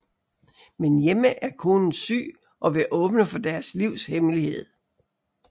Men hjemme er konen syg og vil åbne for deres livs hemmelighed